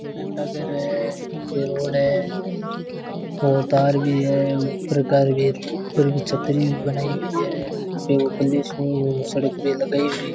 ये घंटाघर है ये रोड़ है और तार भी है ऊपर तार ऊपर भी छतरी भी बनाई हुई है यहां पे सड़क पे लगाई हुई --